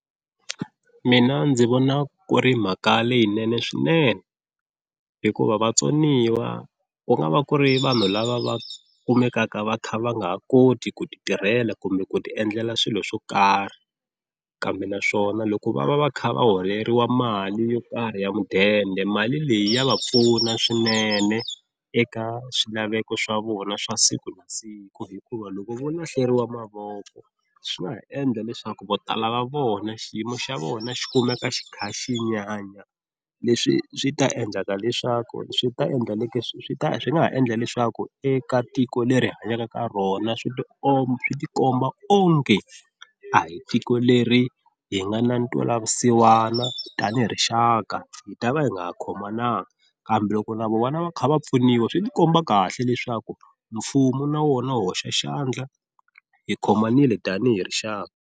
Mina ndzi vona ku ri mhaka leyinene swinene hikuva vatsoniwa ku nga va ku ri vanhu lava va kumekaka va kha va nga ha koti ku ti tirhela kumbe ku ti endlela swilo swo karhi kambe naswona loko va va va kha va holeriwa mali yo karhi ya mudende, mali leyi ya va pfuna swinene eka swilaveko swa vona swa siku na siku hikuva loko vo lahleriwa mavoko swi nga ha endla leswaku vo tala va vona xiyimo xa vona xi kumeka xi kha xi nyanya leswi swi ta endlaka leswaku swi ta endla leswaku swi ta swi nga ha endla leswaku eka tiko leri hi hanyaka ka rona swi ti swi ti komba onge a hi tiko leri hi nga na ntwelavusiwana, tanihi rixaka hi ta va hi nga ha khomanga kambe loko na vona va kha va pfuniwa swi ti komba kahle leswaku mfumo na wona wu hoxa xandla hi khomanile tanihi rixaka.